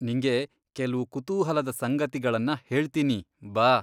ನಿಂಗೆ ಕೆಲ್ವು ಕುತೂಹಲದ ಸಂಗತಿಗಳನ್ನ ಹೇಳ್ತೀನಿ, ಬಾ.